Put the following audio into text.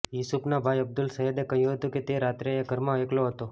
યુસુફના ભાઈ અબ્દુલ સહદે કહ્યું હતું કે એ રાત્રે એ ઘરમાં એકલો હતો